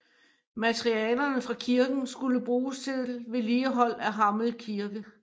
Materialerne fra kirken skulle bruges til vedligehold af Hammel Kirke